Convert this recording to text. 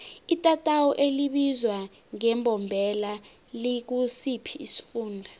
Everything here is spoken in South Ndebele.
itatawu elibizwa ngembombela likusiphi isifunda